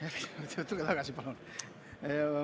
Ärge jookske ära, tulge tagasi, palun!